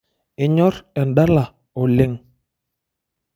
Inyorr endala oleng.